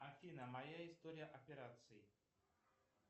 афина моя история операций